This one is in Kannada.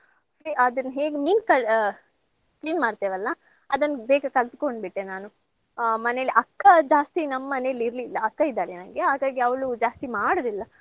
ಅದನ್ ಹೇಗ್ ಮೀನ್ ಕಳ್~ ಆ clean ಮಾಡ್ತೇವಲ್ಲ ಅದನ್ನ್ ಬೇಗ ಕಲ್ತ್ಕೊಂಡ್ಬಿಟ್ಟೆ ನಾನು ಆ ಮನೇಲಿ ಅಕ್ಕ ಜಾಸ್ತಿ ನಮ್ಮನೇಲಿ ಇರ್ಲಿಲ್ಲ ಅಕ್ಕ ಇದ್ದಾಳೆ ನಂಗೆ ಹಾಗಾಗಿ ಅವ್ಳು ಜಾಸ್ತಿ ಮಾಡೋದಿಲ್ಲ.